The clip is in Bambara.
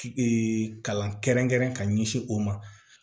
kalan kɛrɛnkɛrɛn ka ɲɛsin o ma